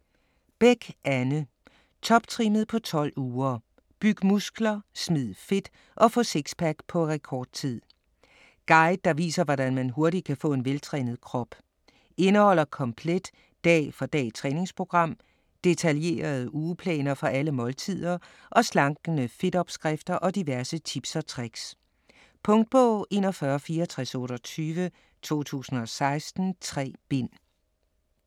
Bech, Anne: Toptrimmet på 12 uger: byg muskler, smid fedt og få sixpack på rekordtid Guide der viser hvordan man hurtigt kan få en veltrænet krop. Indeholder komplet dag for dag-træningsprogram, detaljerede ugeplaner for alle måltider og slankende FIT-opskrifter og diverse tips og tricks. Punktbog 416428 2016. 3 bind.